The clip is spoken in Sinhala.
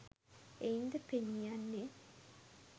එයින්ද පෙනීයන්නේ